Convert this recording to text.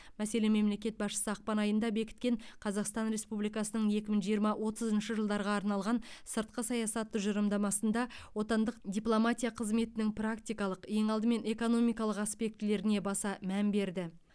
мәселен мемлекет басшысы ақпан айында бекіткен қазақстан республикасының екі мың жиырма отызыншы жылдарға арналған сыртқы саясат тұжырымдамасында отандық дипломатия қызметінің практикалық ең алдымен экономикалық аспектілеріне баса мән берді